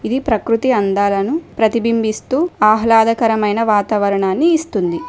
ఈ ప్రకృతి అందాలను ప్రతిబింబిస్తూ ఆహ్లాదకరమైన వాతావరణాన్ని ఇస్తుంది.